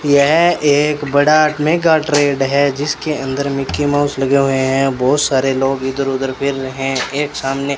यह एक बड़ा का ट्रेड है जिसके अंदर मिकी माउस लगे हुए हैं बहोत सारे लोग इधर उधर फिर रहे हैं एक सामने --